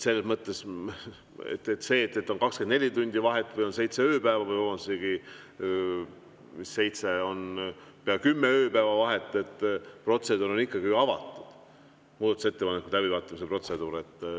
Selles mõttes, et on 24 tundi vahet või seitse ööpäeva või isegi pea kümme ööpäeva vahet, aga muudatusettepanekute läbivaatamise protseduur on ju ikkagi avatud.